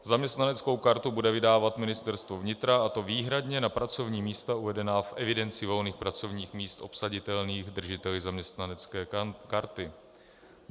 Zaměstnaneckou kartu bude vydávat Ministerstvo vnitra, a to výhradně na pracovní místa uvedená v evidenci volných pracovních míst obsaditelných držiteli zaměstnanecké karty.